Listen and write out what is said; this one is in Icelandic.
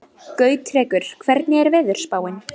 Gautrekur, hvernig er veðurspáin?